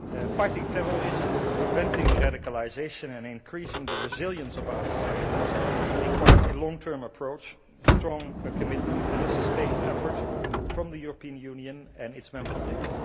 Fighting terrorism, preventing radicalisation and increasing the resilience of our societies requires a long term approach, strong commitment and a sustained effort from the European Union and its Member States.